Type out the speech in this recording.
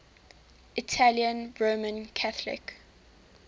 italian roman catholic